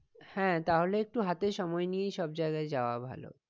হ্যাঁ তাহলে একটু হাতে সময় নিয়েই সব জায়গায় ভালো